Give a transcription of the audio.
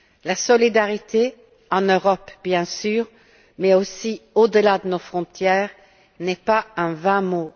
La solidarité, en Europe bien sûr, mais aussi au delà de nos frontières, n'est pas un vain mot.